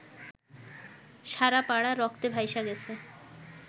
সারা পাড়া রক্তে ভাইসা গেছে